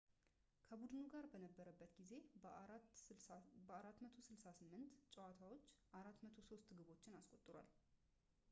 ከቡድኑ ጋር በነበረበት ጊዜ በ 468 ጨዋታዎች 403 ግቦችን አስቆጥሯል